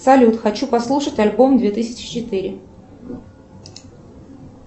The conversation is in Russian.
салют хочу послушать альбом две тысячи четыре